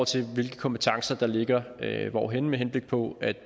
til hvilke kompetencer der ligger hvorhenne med henblik på at